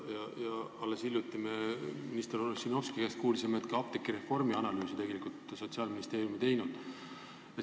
Ja alles hiljuti me kuulsime minister Ossinovski käest, et ka apteegireformi analüüsi Sotsiaalministeerium ei teinud.